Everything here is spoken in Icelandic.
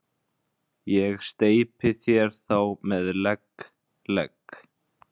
Ég steypi þér þá með legg, legg